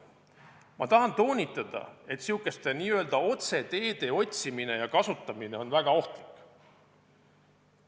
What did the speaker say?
Ma tahan toonitada, et seesuguste otseteede otsimine ja kasutamine on väga ohtlik.